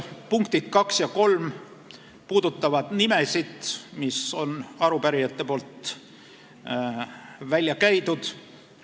Punktid kaks ja kolm puudutavad nimesid, mis on arupärijate välja käidud.